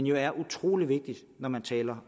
jo er utrolig vigtige når man taler